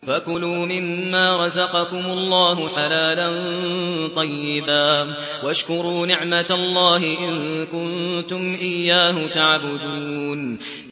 فَكُلُوا مِمَّا رَزَقَكُمُ اللَّهُ حَلَالًا طَيِّبًا وَاشْكُرُوا نِعْمَتَ اللَّهِ إِن كُنتُمْ إِيَّاهُ تَعْبُدُونَ